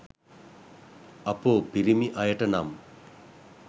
අපෝ පිරිමි අයට නම්